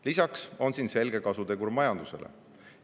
Lisaks on siin selge kasutegur majandusele.